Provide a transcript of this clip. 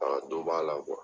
dɔ b'a la